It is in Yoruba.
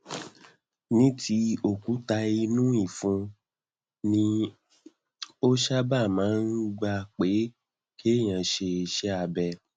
ní ti òkúta inú ìfun ni ó sábà máa ń gba pé kéèyàn ṣe iṣẹ abẹ